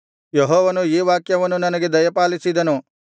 ಯೆಹೋವನು ಈ ವಾಕ್ಯವನ್ನು ನನಗೆ ದಯಪಾಲಿಸಿದನು